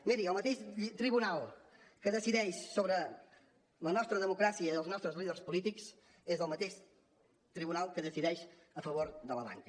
miri el mateix tribunal que decideix sobre la nostra democràcia i els nostres líders polítics és el mateix tribunal que decideix a favor de la banca